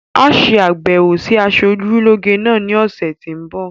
Á ṣe àbẹwò sí asojúlógé náà ní ọ̀sẹ̀ tí ń bi